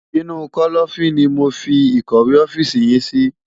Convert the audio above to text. Inu kòlòfin ni mó fi ikòwé òfisi yin si